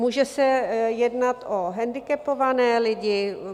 Může se jednat o handicapované lidi.